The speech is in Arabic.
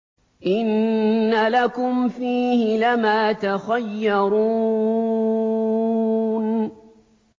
إِنَّ لَكُمْ فِيهِ لَمَا تَخَيَّرُونَ